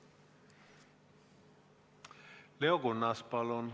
Leo Kunnas, palun!